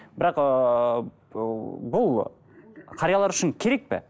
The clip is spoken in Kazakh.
бірақ ыыы бұл қариялар үшін керек пе